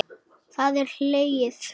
Það er hlegið.